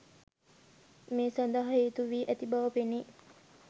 මේ සඳහා හේතු වී ඇති බව පෙනේ.